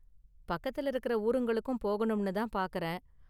பக்கத்துல இருக்குற ஊருங்களுக்கும் போகணும்னு தான் பாக்கறேன்.